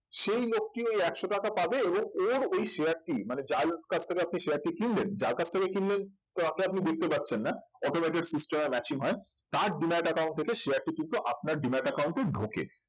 সেই লোকটি ওই একশো টাকা পাবে এবং ওর ওই share টি মানে যার কাছ থেকে আপনি share টি কিনলেন যার কাছ থেকে কিনলেন তাকে আপনি দেখতে পাচ্ছেন না automatic system এ matching হয় তার demat account থেকে share টি কিন্তু আপনার demat account এ ঢোকে